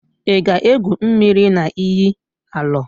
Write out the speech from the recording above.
Ị ga-égwù mmiri na iyi Alọ?